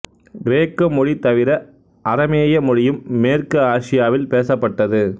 கிரேக்க மொழி தவிர அரமேய மொழியும் மேற்கு ஆசியாவில் பேசப்பட்டது